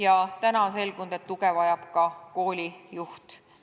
Ja nüüd on selgunud, et tuge vajab ka koolijuht.